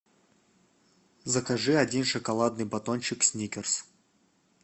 закажи один шоколадный батончик сникерс